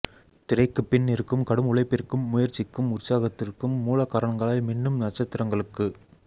திரைக்குப்பின் இருக்கும் கடும் உழைப்பிற்கும் முயற்சிக்கும் உற்சாகத்திற்கும் மூலகாரணங்களாய் மின்னும் நட்சத்திரங்களுக்கு